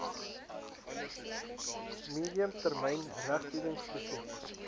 medium termyn regstoekenningsproses